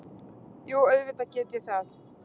Jú, auðvitað get ég það.